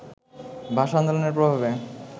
ভাষা-আন্দোলনের প্রভাবে